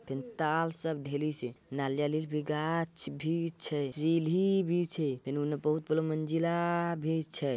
पेनताल सब ढेली छे नालियाली क भी गाछ भी छै। चिहली भी छे फिन हुनने बहुत बलो मंजिला भी छै।